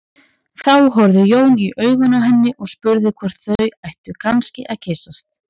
Þá horfði Jón í augun á henni og spurði hvort þau ættu kannski að kyssast.